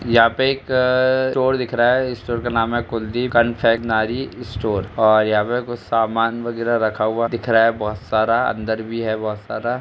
यहाँ पर एक अ स्टोर दिख रहा है इस स्टोर का नाम है कुलदीप स्टोर और यहाँ पे कुछ समान वगैरा रखा हुआ दिख रहा बहोत सारा अंदर भी है बहोत सारा ।